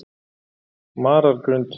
Marargrund